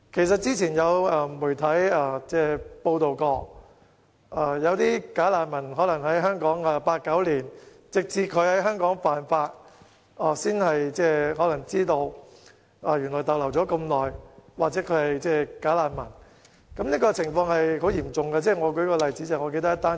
之前有媒體報道，有"假難民"已留港長達八九年，直至他們在香港犯法後，才被發現原來已逗留了這麼長時間，或被發現他們"假難民"的身份。